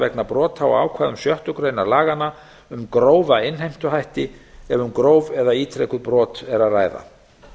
vegna brota á ákvæðum sjöttu grein laganna um grófa innheimtuhætti ef um gróf eða ítrekuð brot er að ræða